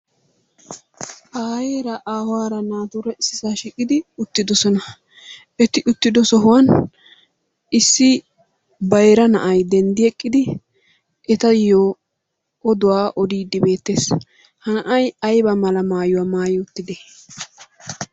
Aayera aawara naatura issisaa shiiqidi uttidossona etti uttido sohuwaan issi bayira na'ay denddi eqqidi ettayo odduwaa odidi beettes. Ha na'ay ayba malla maayuwaa maayi uttide?